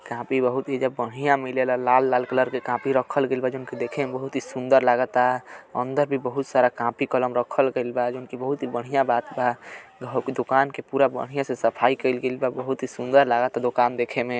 Copy बहुत ही एइजा बढ़िया मिलेला। लाल लाल कलर के कापी रखल गईल बा जौन कि देखे में बहुत ही सुन्दर लागता। अंदर भी बहुत सारा कापी कलम रखल गईल बा जौन कि बहुत ही बढ़िया बात बा। घ कि दोकान के पूरा बढ़िया से सफाई कइल गईल बा। बहुत ही सुन्दर लागता दोकान देखे में।